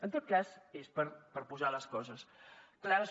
en tot cas és per posar les coses clares